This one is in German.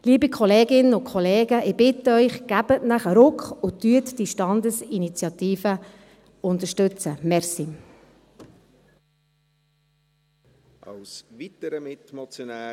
Liebe Kolleginnen und Kollegen, ich bitte Sie, geben Sie sich einen Ruck und unterstützen Sie diese Standesinitiative.